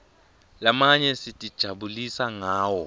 lamanye sitijabulisa ngawo